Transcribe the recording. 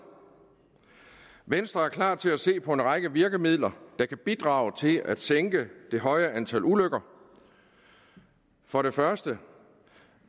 venstre er klar til at se på en række virkemidler der kan bidrage til at sænke det høje antal ulykker for det første